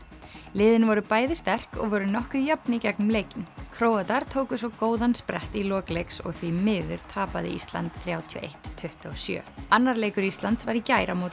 liðin voru bæði sterk og voru nokkuð jöfn í gegnum leikinn Króatar tóku svo góðan sprett í lok leiks og því miður tapaði Ísland þrjátíu og eitt til tuttugu og sjö annar leikur Íslands var í gær á móti